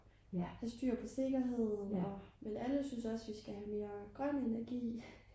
have styr på sikkerheden men alle synes også vi skal have mere grøn energi